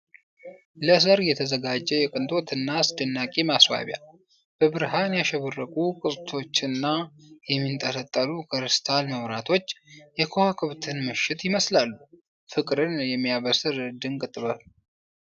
ለሰርግ የተዘጋጀ የቅንጦት እና አስደናቂ ማስዋቢያ! በብርሃን ያሸበረቁ ቅስቶችና የሚንጠለጠሉ ክሪስታል መብራቶች የከዋክብትን ምሽት ይመስላሉ። ፍቅርን የሚያበስር ድንቅ ጥበብ !